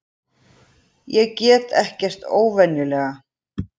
Ég get ekkert óvenjulega.